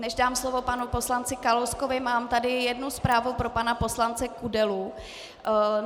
Než dám slovo panu poslanci Kalouskovi, mám tady jednu zprávu pro pana poslance Kudelu.